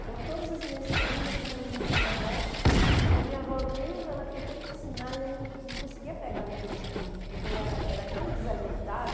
Então todas as minhas primas se reuniam com a minha avó e a minha avó, eu lembro, ela tentando me ensinar e eu não não conseguia pegar naqueles birros, porque eu era era tão desajeitada.